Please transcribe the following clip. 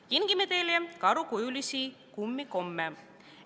Kingime teile karukujulisi kummikomme.